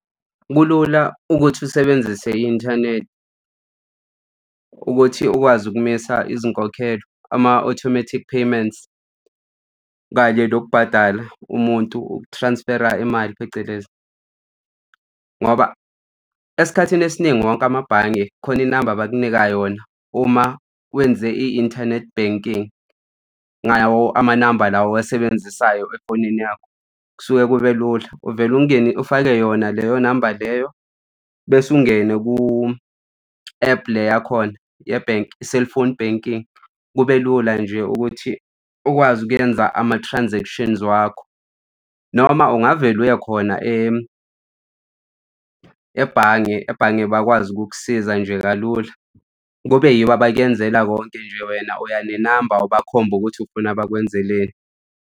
Kulula ukuthi usebenzise i-inthanethi ukuthi ukwazi ukumisa izinkokhelo, ama-automatic payments kanye nokubhadala umuntu uku-transfer-ra imali phecelezi. Ngoba esikhathini esiningi wonke amabhange khona inamba abakunika yona uma wenze i-internet banking ngawo amanamba la owasebenzisayo efonini yakho. Kusuke kube lula uvele ungeni ufake yona leyo namba leyo bese ungene ku-app le yakhona ye-bank i-cellphone banking. Kube lula nje ukuthi ukwazi ukwenza ama-transactions wakho. Noma ungavele uya khona ebhange, ebhange bakwazi ukukusiza nje kalula. Kube yibo abakyenzela konke nje wena uya nenamba ubakhombe ukuthi ufuna bakwenzeleni.